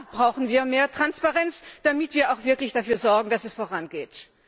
Auch da brauchen wir mehr Transparenz, damit wir auch wirklich dafür sorgen, dass es vorangeht.